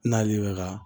N'ale bɛ ka